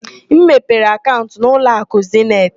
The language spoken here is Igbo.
Ị mepere akaụnt na ụlọakụ Zeniti?